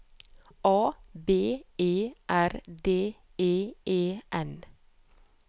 A B E R D E E N